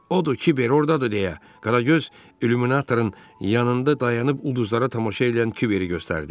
Odur Kiber ordadır deyə Qaragöz illuminatorun yanında dayanıb ulduzlara tamaşa edən Kiberi göstərdi.